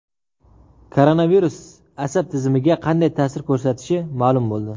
Koronavirus asab tizimiga qanday ta’sir ko‘rsatishi ma’lum bo‘ldi.